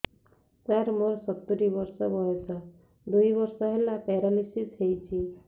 ସାର ମୋର ସତୂରୀ ବର୍ଷ ବୟସ ଦୁଇ ବର୍ଷ ହେଲା ପେରାଲିଶିଶ ହେଇଚି